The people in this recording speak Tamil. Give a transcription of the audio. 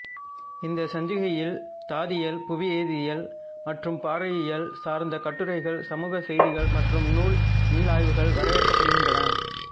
இந்த சஞ்சிகையில் தாதியல் புவிவேதியியல் மற்றும் பாறையியல் சார்ந்த கட்டுரைகள் சமூக செய்திகள் மற்றும் நூல் மீளாய்வுகள் வரவேற்கப்படுகின்றன